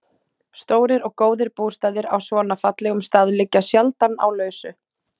Stórir og góðir bústaðir á svona fallegum stað liggja sjaldan á lausu.